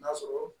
N'a sɔrɔ